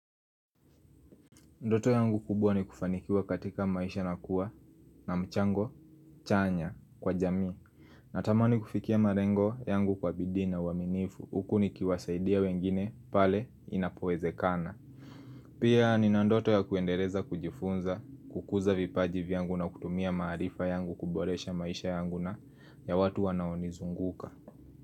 Ndoto yangu kubwa ni kufanikiwa katika maisha na kuwa na mchango chanya kwa jamii. Natamani kufikia malengo yangu kwa bidii na uaminifu. Huku nikiwasaidia wengine pale inapowezekana. Pia nina ndoto ya kuendeleza kujifunza kukuza vipaji vyangu na kutumia maarifa yangu kuboresha maisha yangu na ya watu wanaonizunguka.